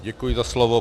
Děkuji za slovo.